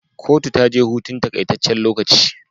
Kotu taje hutun takai tacen lokaci